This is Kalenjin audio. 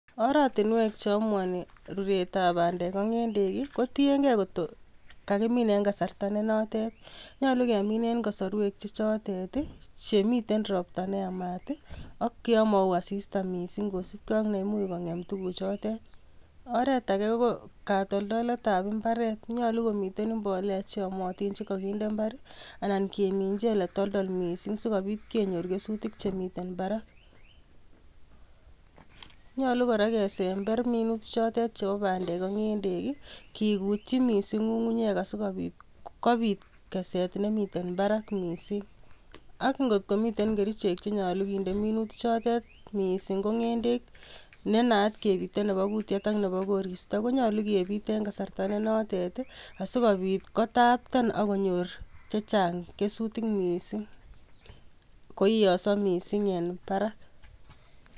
Oratinuek che amuani ruretab bandel ak ngendek ii ko tienge koto kagimin en kasarta ne notet. Nyalu kemin eng kasarwek che chotet ii che miten ropta neyamat ak yomao asista mising kosipke ak yamami kongem tuguchotet. Oret age ko, katoldoletab imbaret. Nyalu komiten mbolea che yamotin che kaginde mbar anan keminji ole toldol mising sigopit kenyor kesutik che miten barak. Nyalu kora kesember minut chotet chebo bandek ak ngendek ii, kigutyi mising ngungunyek asigopit kopit keset nemiten barak mising ak ngotkomiten kerichek che nyalu kinde minutik chotet, mising ko ngendek ne naat kepiten nebo kutiet ak nebo koristo konyalu kepit eng kasarta ne notet asigopit kotapten ak konyor chechang kesutik mising, koiyoso mising en barak